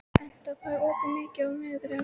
Etna, hvað er opið lengi á miðvikudaginn?